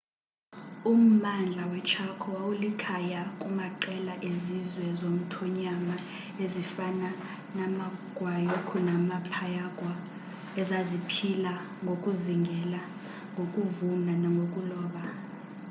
ummandla weechaco wawulikhaya kumaqela ezizwe zomthonyama ezifana namaguaycurú namapayaguá ezaziphila ngokuzingela ngokuvuna nangokuloba